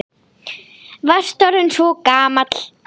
Varst orðinn svo gamall.